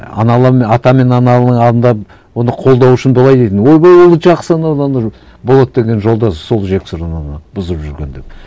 ата мен ананың алдында оны қолдау үшін былай дейтін ойбай ол жақсы болат деген жолдасы сол жексұрын оны бұзып жүрген деп